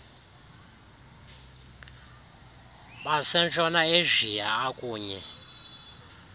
basentshona asia akunye